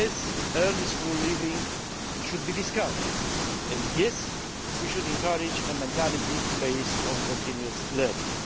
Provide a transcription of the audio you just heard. Yes, early school leaving should be discouraged and, yes, we should encourage a mentality based on continuous learning.